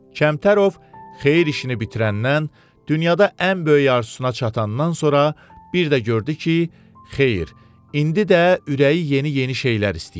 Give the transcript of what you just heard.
Kəmtərov xeyir işini bitirəndən, dünyada ən böyük arzusuna çatandan sonra bir də gördü ki, xeyir, indi də ürəyi yeni-yeni şeylər istəyir.